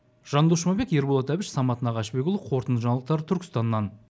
жандос жұмабек ерболат әбіш самат нағашыбекұлы қорытынды жаңалықтар түркістаннан